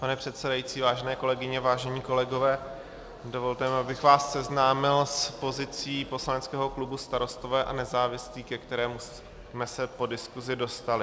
Pane předsedající, vážené kolegyně, vážení kolegové, dovolte mi, abych vás seznámil s pozicí poslaneckého klubu Starostové a nezávislí, ke kterému jsme se po diskusi dostali.